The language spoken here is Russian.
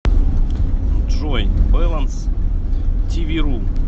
джой бэлэнс ти ви ру